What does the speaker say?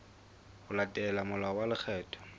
ho latela molao wa lekgetho